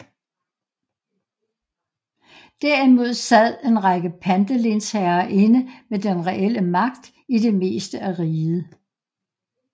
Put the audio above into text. Derimod sad en række pantelensherrer inde med den reelle magt i det meste af riget